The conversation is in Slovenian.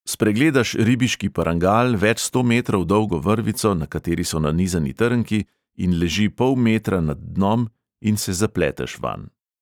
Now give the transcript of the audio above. Spregledaš ribiški parangal več sto metrov dolgo vrvico, na kateri so nanizani trnki in leži pol metra nad dnom in se zapleteš vanj.